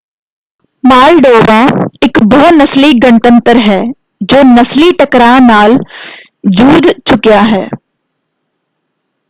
Moldova ਇੱਕ ਬਹੁ-ਨਸਲੀ ਗਣਤੰਤਰ ਹੈ ਜੋ ਨਸਲੀ ਟਕਰਾਅ ਨਾਲ ਜੂਝ ਚੁਕਿਆ ਹੈ।